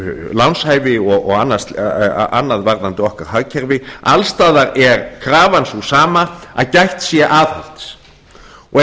lánshæfi og annað varðandi okkar hagkerfi alls staðar er krafan sú sama að gætt sé að aðhalds og